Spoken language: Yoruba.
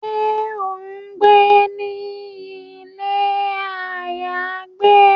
Ṣe o ngbé ni ilé ayagbe?